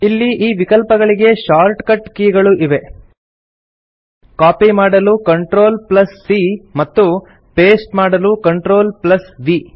ಇಲ್ಲಿ ಈ ವಿಕಲ್ಪಗಳಿಗೆ ಶಾರ್ಟ್ಕಟ್ ಕೀ ಗಳೂ ಇವೆ ಕಾಪಿ ಮಾಡಲು CTRLC ಮತ್ತು ಪಾಸ್ಟೆ ಮಾಡಲು CTRLV